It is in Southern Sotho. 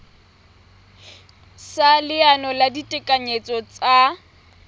sa leano la ditekanyetso tsa